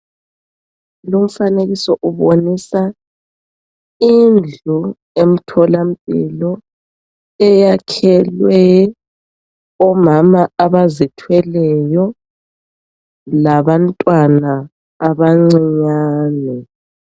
Lumfanekiso ubonisa indlu emtholampilo eyakhelwe omama abazithwelelyo labantwana abancinyane .